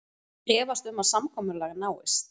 Efast um að samkomulag náist